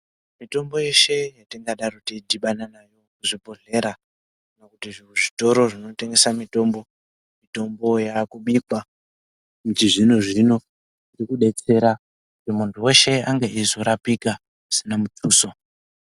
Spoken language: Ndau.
Mitombo yeshe yatingadaro teidhibana nayo muzvibhedhleya kana kuti muzvitoro zvinotengese mitombo mitombo yakubikwa muchizvino zvino irikudetsera kuti muntu weshe ange eizorapika zvisina mutuso.